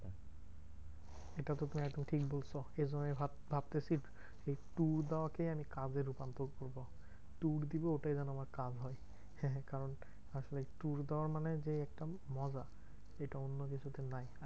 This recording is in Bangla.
এটা তো তুমি একদম ঠিক বলছো। এইজন্যই ভাব ভাবতেছি এই tour যাওয়া কেই আমি কাজে রূপান্তর করবো। tour দিবো ওটাই যেন আমার কাজ হয়। হ্যাঁ কারণ আসলে এই tour দেওয়ার মানে যে একটা মজা। এটা অন্য কিছুতে নাই